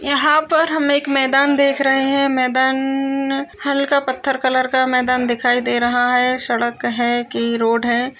यहाँ पर हम एक मैदान देख रहे हैं मैदान न हल्का पत्थर कलर का मैदान दिखाई दे रहा है सड़क है कि रोड है।